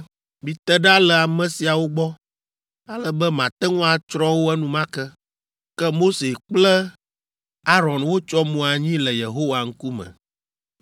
“Mite ɖa le ame siawo gbɔ, ale be mate ŋu atsrɔ̃ wo enumake.” Ke Mose kple Aron wotsyɔ mo anyi le Yehowa ŋkume.